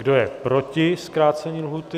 Kdo je proti zkrácení lhůty?